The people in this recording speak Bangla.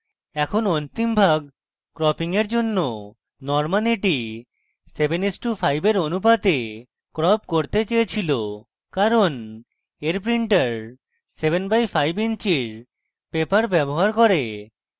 এখন অন্তিম ভাগ cropping এর জন্য norman এটি 7:5 এর অনুপাতে crop করতে চাইছিল কারণ এর printer 7/5 ইঞ্চির paper ব্যবহার করে